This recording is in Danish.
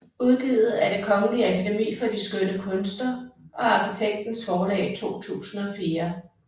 Udgivet af Det Kongelige Akademi for de Skønne Kunster og Arkitektens Forlag 2004